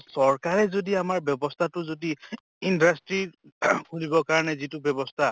চৰকাৰে যদি আমাৰ ব্য়ৱস্থাটো যদি industry কৰিবৰ কাৰণে যিটো ব্য়ৱস্থা